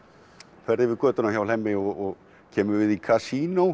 ferð yfir götuna hjá Hlemmi og kemur við í